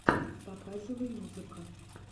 показывай музыка